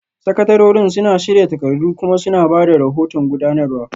Sakatarorin suna shirya takardu kuma suna ba da rahoton gudanarwa